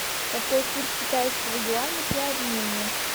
какой курс китайского юаня при обмене